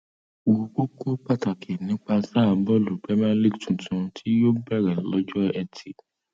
wo kókó pàtàkì nípa sáà bọọlù premier league tuntun tí yóò bẹrẹ lọjọ etí